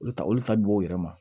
Olu ta olu ta bi bɔ u yɛrɛ ma